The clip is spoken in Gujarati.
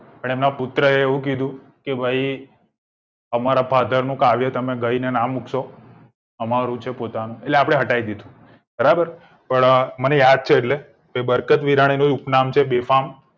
પણ તેમના પુત્રે એવું કીધું કે ભઈ અમારા father નું કાવ્ય ગઈને ના મુકશો અમારું છે પોતાનું એટલે હટાઈ દીધું બરાબર મને યાદ છે એટલે એ બરકત બીરની ઉપનામ છે બેફામ